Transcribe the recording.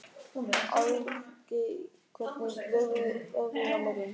Álfgeir, hvernig verður veðrið á morgun?